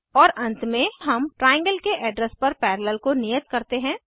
और अंत में हम ट्राइएंगल के एड्रेस पर पैरेलल को नियत करते हैं